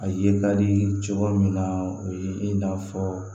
A ye ka di cogo min na o ye i n'a fɔ